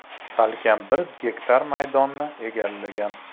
Salkam bir gektar maydonni egallagan.